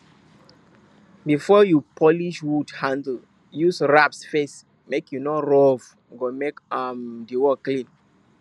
before you polish wood handle use rasp first make e no roughe go make um di work clean